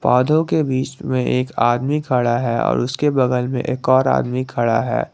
पौधों के बीच में एक आदमी खड़ा है और उसके बगल में एक और आदमी खड़ा है।